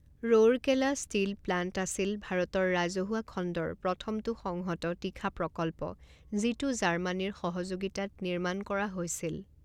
Rourkela steel plant আছিল ভাৰতৰ ৰাজহুৱা খণ্ডৰ প্ৰথমটো সংহত তীখা প্ৰকল্প, যিটো জাৰ্মানীৰ সহযোগিতাত নিৰ্মাণ কৰা হৈছিল।